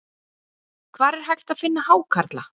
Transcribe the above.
Hvar er hægt að finna hákarla?